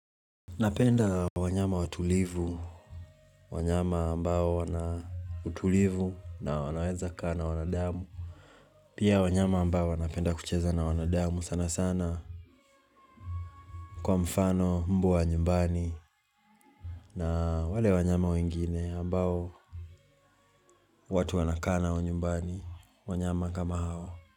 Napenda wanyama watulivu, wanyama ambao wana utulivu na wanaweza kaa wanadamu. Pia wanyama ambao wana penda kucheza na wanadamu sana sana kwa mfano mbwa wa nyumbani na wale wanyama wengine ambao watu wana kaa nao nyumbani wanyama kama hao.